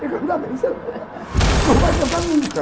Porque cantar bem você não vai cantar nunca.